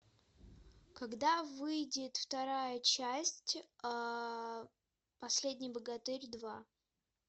когда выйдет вторая часть последний богатырь два